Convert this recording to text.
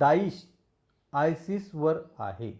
Daesh ISIS वर आहे